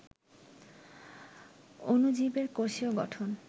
অণুজীবের কোষীয় গঠন